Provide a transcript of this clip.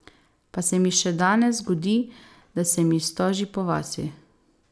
Pa se mi še danes zgodi, da se mi stoži po vasi.